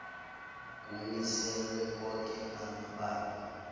kumiselwe onke amabanga